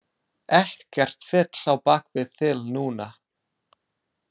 Ekkert fitl á bak við þil núna.